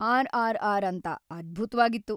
RRR. ಅಂತ, ಅದ್ಭುತ್ವಾಗಿತ್ತು.